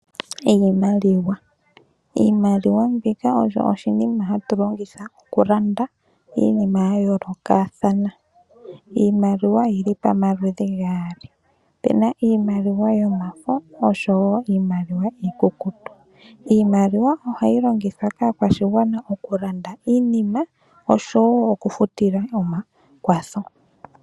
Iimaliwa oyo oshinima hatu longitha okulanda iinima yayoolokothana. Iimaliwa oyili pamaludhi gaali opena iimaliwa yomafo oshowo iimaliwa iikukutu. Iimaliwa ohayi longithwa kaakwashigwana okulanda iinima nokufuta oompumbwe dhawo.